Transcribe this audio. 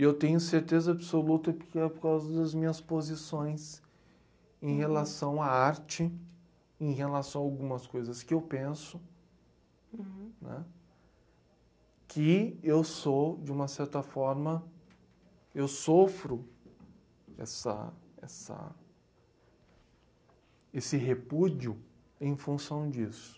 E eu tenho certeza absoluta que é por causa das minhas posições em relação à arte, em relação a algumas coisas que eu penso, né, que eu sou, de uma certa forma, eu sofro essa essa esse repúdio em função disso.